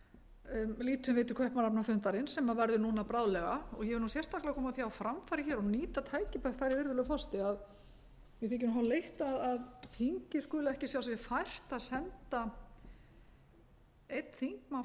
lítum við til kaupmannahafnarfundarins sem verður núna bráðlega og ég vil nú sérstaklega koma því á framfæri hér og nýta tækifærið virðulegur forseti að mér þykir nú hálf leitt að þingið skuli ekki sjá sér fært að senda einn þingmann frá hverjum stjórnmálaflokki á þessa ráðstefnu kem því nú bara